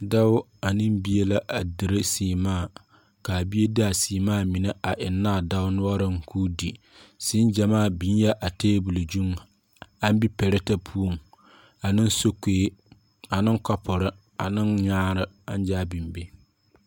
Doɔ ane bie la a dire seemaa kaa bie de a seemaa mene a engna a doɔ noɔring kuu de seẽ jamaa bingɛɛ a tabol zu an bi pɛretɛ pou ane sokou ane kapuri ane nyaare angzaa bing be.